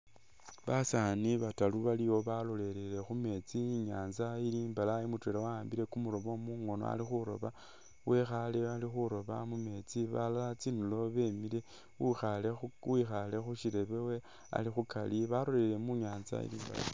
Basani bataru baliwo balolelele khu metsi inyanza ili imbalayi mutwela wa'ambile kumulobo mungono ali khuloba wekhale ali khuloba mu metsi balala tsindulo bemile u wikhale khu shirebe ali khukari balolelele munyatsa ingali.